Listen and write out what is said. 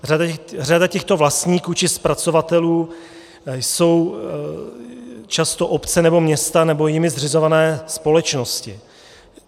Řada těchto vlastníků či zpracovatelů jsou často obce nebo města nebo jimi zřizované společnosti.